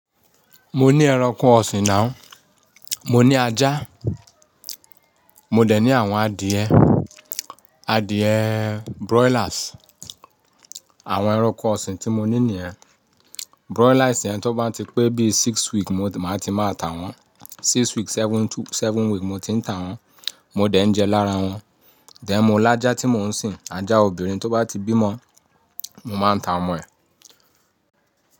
Mo ní ẹranko ọ̀sìn náà, mo ní ajá, mo dẹ̀ ní àwọn adìẹ, adìẹ broilers. Àwọn ẹranko ọ̀sìn tí mo ní nìyẹn, broilers yẹn tó bá ti pé bí i six weeks mo máa ti máa ta wọ́n. Six weeks, seven two, seven weeks mo ti ń ta wọ́n, mo dẹ̀ ń jẹ lára wọ́n. Then mọ́ ọlá ajá tí mò ń sin, ajá obìnrin tó bá ti bímọ, mo máa ń ta ọmọ ẹ̀